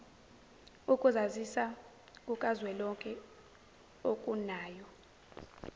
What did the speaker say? ukuzazisa kukazwelonke okunayo